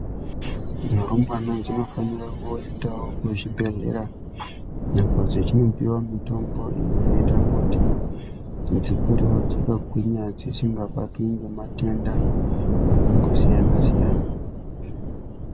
Mirumbwana dzinofanira kuendawo kuchibhedhlera apo dzechindopiwa mitombo inoita kuti dzikurewo dzakagwinya dzisingabatwi ngematenda akangosiyana-siyana.